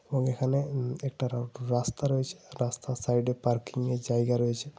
ঐখানে হম একটা রাস্তা রয়েছে। রাস্তার সাইডে একটা পার্কিং -এর জায়গা রয়েছে।